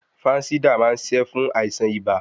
Fánsídà má ń ṣiṣẹ́ fún àìsàn ibà.